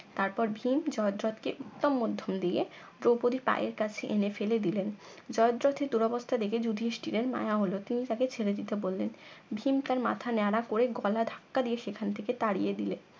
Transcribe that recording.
তারপর ভীম জয়দ্রত কে উত্তম মধ্যম দিয়ে দৌপদীর পায়ের কাছে এনে ফেলে দিলেন জয়দ্রতের দুরবস্থা দেখে যুধিষ্টিরের মায়া হল তিনি তাকে ছেড়ে দিতে বললেন ভীম তার মাথা নেড়া করে গলা ধাক্কা দিয়ে সেখান থেকে তাড়িয়ে দিলেন